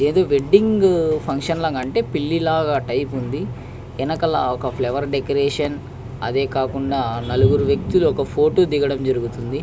ఏదో wedding function లాగా అంటే పెళ్లి లాగా వుంది. అక్కడ కార్ దెదిగడం జరుగుతుంది అలాగే ఒక వెక్తి ఫోటో దిగడం జరుగుతుంది.